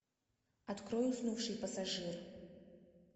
открой уснувший пассажир